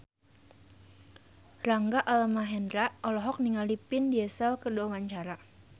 Rangga Almahendra olohok ningali Vin Diesel keur diwawancara